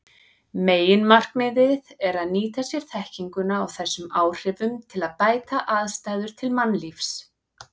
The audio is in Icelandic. Meginmarkmiðið er að nýta sér þekkinguna á þessum áhrifum til að bæta aðstæður til mannlífs.